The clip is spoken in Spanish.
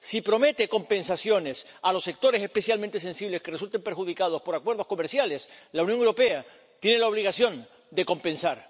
Si promete compensaciones a los sectores especialmente sensibles que resulten perjudicados por acuerdos comerciales, la Unión Europea tiene la obligación de compensar.